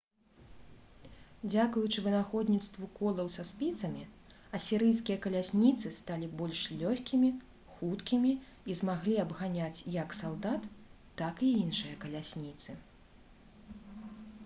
дзякуючы вынаходніцтву колаў са спіцамі асірыйскія калясніцы сталі больш лёгкімі хуткімі і змаглі абганяць як салдат так і іншыя калясніцы